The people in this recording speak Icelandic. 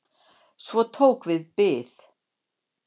Svo tók við bið.